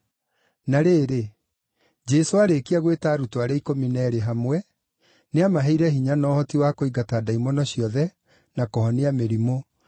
Na rĩrĩ, Jesũ aarĩkia gwĩta arutwo arĩa ikũmi na eerĩ hamwe, nĩamaheire hinya na ũhoti wa kũingata ndaimono ciothe na kũhonia mĩrimũ,